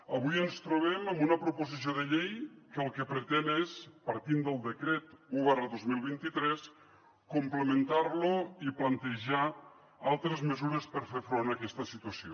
avui ens trobem amb una proposició de llei que el que pretén és partint del decret un dos mil vint tres complementar lo i plantejar altres mesures per fer front a aquesta situació